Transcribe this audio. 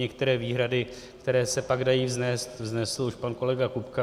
Některé výhrady, které se pak dají vznést, vznesl už pan kolega Kupka.